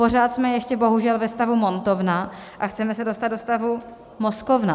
Pořád jsme ještě bohužel ve stavu montovna a chceme se dostat do stavu mozkovna.